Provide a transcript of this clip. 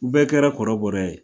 U bɛɛ kɛra kɔrɔbɔrɔ ye